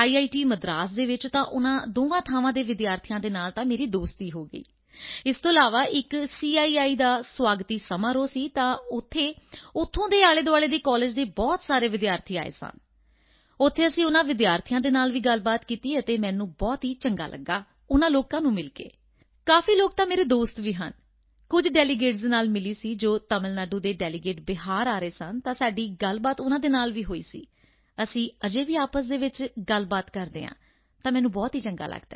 ਮਦਰਾਸ ਵਿੱਚ ਤਾਂ ਉਨ੍ਹਾਂ ਦੋਵਾਂ ਥਾਵਾਂ ਦੇ ਵਿਦਿਆਰਥੀਆਂ ਨਾਲ ਤਾਂ ਮੇਰੀ ਦੋਸਤੀ ਹੋ ਗਈ ਹੈ ਇਸ ਤੋਂ ਇਲਾਵਾ ਇੱਕ ਸੀਆਈਆਈ ਦਾ ਸਵਾਗਤੀ ਸਮਾਰੋਹ ਸੀ ਤਾਂ ਉੱਥੇ ਉੱਥੋਂ ਦੇ ਆਲੇਦੁਆਲੇ ਦੇ ਕਾਲਜ ਦੇ ਬਹੁਤ ਸਾਰੇ ਵਿਦਿਆਰਥੀ ਆਏ ਸਨ ਉੱਥੇ ਅਸੀਂ ਉਨ੍ਹਾਂ ਵਿਦਿਆਰਥੀਆਂ ਨਾਲ ਵੀ ਗੱਲਬਾਤ ਕੀਤੀ ਅਤੇ ਮੈਨੂੰ ਬਹੁਤ ਚੰਗਾ ਲਗਾ ਉਨ੍ਹਾਂ ਲੋਕਾਂ ਨੂੰ ਮਿਲ ਕੇ ਕਾਫੀ ਲੋਕ ਤਾਂ ਮੇਰੇ ਦੋਸਤ ਵੀ ਹਨ ਕੁਝ ਡੈਲੀਗੇਟਸ ਨਾਲ ਵੀ ਮਿਲੀ ਸੀ ਜੋ ਤਮਿਲ ਨਾਡੂ ਦੇ ਡੈਲੀਗੇਟ ਬਿਹਾਰ ਆ ਰਹੇ ਸਨ ਤਾਂ ਸਾਡੀ ਗੱਲਬਾਤ ਉਨ੍ਹਾਂ ਨਾਲ ਵੀ ਹੋਈ ਸੀ ਅਤੇ ਅਸੀਂ ਅਜੇ ਵੀ ਆਪਸ ਵਿੱਚ ਗੱਲ ਕਰ ਰਹੇ ਹਾਂ ਤਾਂ ਮੈਨੂੰ ਬਹੁਤ ਚੰਗਾ ਲੱਗਦਾ ਹੈ